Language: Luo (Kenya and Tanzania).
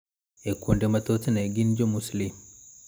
E kuonde ma thothne gin Jo-Muslim.